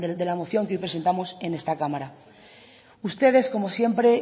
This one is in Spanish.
de la moción que hoy presentamos en esta cámara ustedes como siempre